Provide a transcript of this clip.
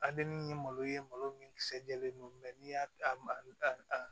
ye malo ye malo min kisɛ jɛlen don n'i y'a